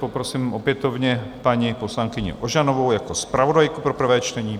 Poprosím opětovně paní poslankyni Ožanovou jako zpravodajku pro prvé čtení.